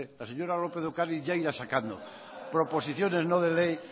la señora lópez de ocariz ya irá sacando proposiciones no de ley